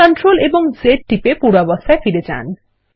CTRL এবং Z টিপে পূর্বাবস্থায় ফিরে যান